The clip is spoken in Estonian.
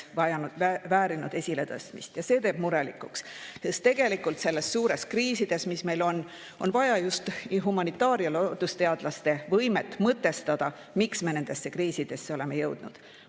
Sest tegelikult nendes suurtes kriisides, mis meil on, on vaja just humanitaar- ja loodusteadlaste võimet mõtestada, miks me nendesse kriisidesse oleme jõudnud.